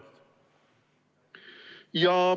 Kolm minutit.